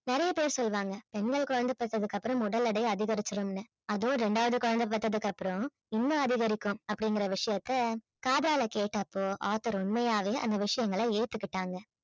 நிறைய பேர் சொல்லுவாங்க பெண்கள் குழந்தை பெத்ததுக்கு அப்புறம் உடல் எடை அதிகரிச்சிடும்ன்னு அதுவும் இரண்டாவது குழந்தை பெத்ததுக்கு அப்புறம் இன்னும் அதிகரிக்கும் அப்படிங்கிற விஷயத்தை காதால கேட்டபோ author உண்மையாவே அந்த விஷயங்கள ஏத்துக்கிட்டாங்க